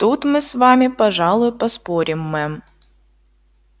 тут мы с вами пожалуй поспорим мэм